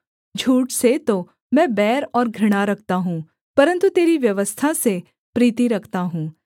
झूठ से तो मैं बैर और घृणा रखता हूँ परन्तु तेरी व्यवस्था से प्रीति रखता हूँ